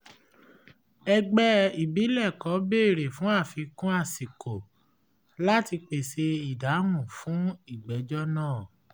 ègbè ìbílẹ̀ kan béèrè fún àfikún àsìkò láti pèsè ìdáhùn fún ìgbẹ́jọ́ náà